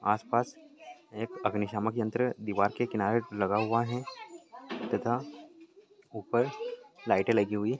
आस पास एक अबिनिशामक यन्त्र दिवार के किनारे लगा हुआ हैं तथा ऊपर लाइटें लगी हुई हैं।